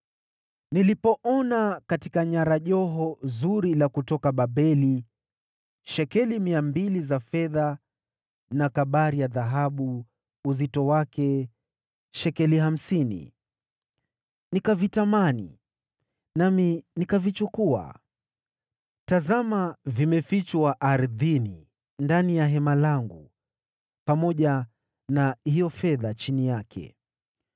Nilipoona katika nyara joho zuri la kutoka Babeli, shekeli mia mbili za fedha, na kabari ya dhahabu ya uzito wa shekeli hamsini, nikavitamani na nikavichukua. Tazama, vimefichwa ardhini ndani ya hema langu, pamoja na hiyo fedha chini yake.”